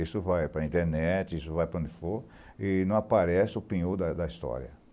Isso vai para a internet, isso vai para onde for, e não aparece o penhor da da história.